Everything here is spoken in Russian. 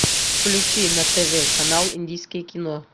включи на тв канал индийское кино